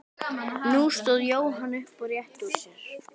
Nú stóð Jóhann upp og rétti úr sér.